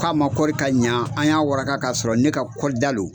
K'a ma kɔri ka ɲa, an y'a waraka k'a sɔrɔ ne ka kɔlda lo.